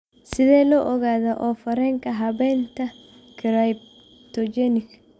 Sidee loo ogaadaa oof wareenka habaynta cryptogenic?